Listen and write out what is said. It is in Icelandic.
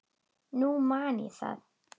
Nú man ég það!